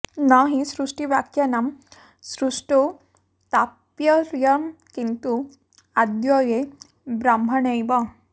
न हि सृष्टिवाक्यानां सृष्टौ तात्पर्यम् किन्तु अद्वये ब्रह्मण्येव